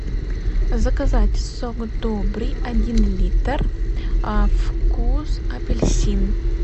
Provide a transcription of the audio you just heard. заказать сок добрый один литр вкус апельсин